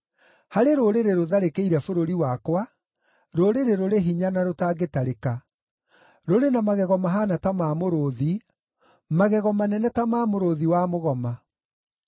Harĩ rũrĩrĩ rũtharĩkĩire bũrũri wakwa, rũrĩrĩ rũrĩ hinya na rũtangĩtarĩka; rũrĩ na magego mahaana ta ma mũrũũthi, magego manene ta ma mũrũũthi wa mũgoma.